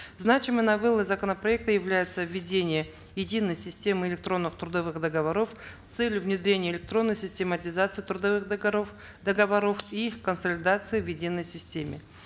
значимой новеллой законопроекта является введение единой системы электронных трудовых договоров с целью внедрения электронной систематизации трудовых договоров и их консолидации в единой системе